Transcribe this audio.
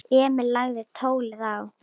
Emil lagði tólið á.